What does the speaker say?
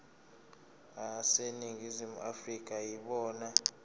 aseningizimu afrika yibona